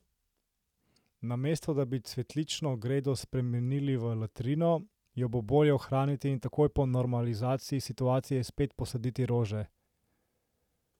Namesto da bi cvetlično gredo spremenili v latrino, jo bo bolje ohraniti in takoj po normalizaciji situacije spet posaditi rože.